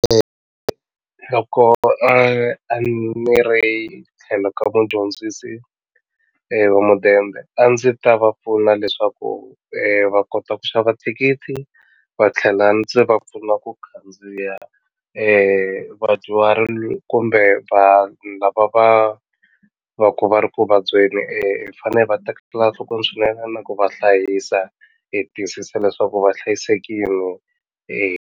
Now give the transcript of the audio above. loko a ni ri tlhelo ka mudyondzisi wa mudende a ndzi ta va pfuna leswaku va kota ku xava thikithi va tlhela ndzi va pfuna ku khandziya vadyuhari kumbe vanhu lava va va ku va ri ku vabyeni hi fanele va tekela nhlokweni swinene na ku va hlayisa hi tiyisisa leswaku va hlayisekile .